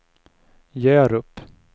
Hjärup